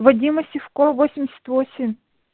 вадима сивкова восемьдесят восемь